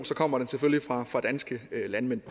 kommer den selvfølgelig fra fra danske landmænd